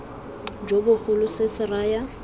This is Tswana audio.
jo bogolo se se raya